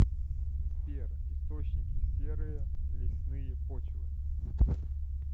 сбер источники серые лесные почвы